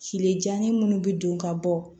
Kile janɲɛ minnu bɛ don ka bɔ